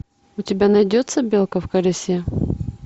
у тебя найдется белка в колесе